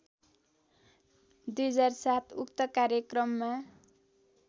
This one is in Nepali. २००७ उक्त कार्यक्रममा